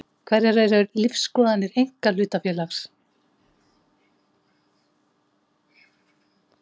Hverjar eru lífsskoðanir einkahlutafélags?